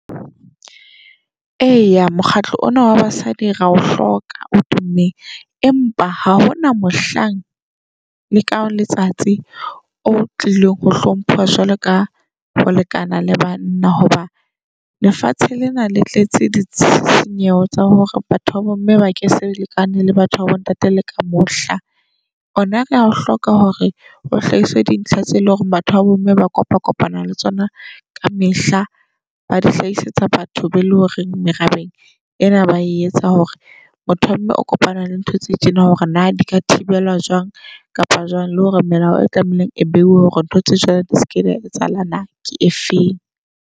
Eya mokgatlo ona wa basadi ra o hloka o tummeng. Empa ha hona mohlang le ka letsatsi o tlilong ho hlomphuwa jwalo ka holekana le banna. Hoba lefatshe lena le tletse ditshisinyeho tsa hore batho ba bomme ba ke se lekane le batho babo ntate le ka mohla. Hona rea o hloka hore o hlahisa dintlha tse o eleng hore batho ba bomme ba kopa kopana le tsona ka mehla. Ba di hlasetsa batho be eleng hore merabeng ena ba etsa hore motho wa mme o kopana le ntho tse tjena hore na dika thibelwa jwang kapa jwang. Le hore melao e tlameileng e behuwe hore ntho tse jwalo di seke di a etsahala na ke efeng.